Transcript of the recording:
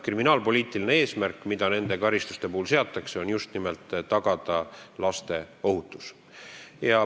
Kriminaalpoliitiline eesmärk, mis nende karistuste puhul seatakse, on just nimelt tagada laste ohutus.